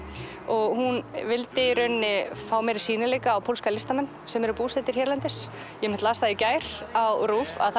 hún vildi í rauninni fá meiri sýnileika á pólska listamenn sem eru búsettir hérlendis ég las það í gær á RÚV að